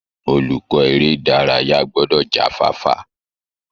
Olùkọ́ èrè ìdárayá gbọ́dọ̀ já fáfá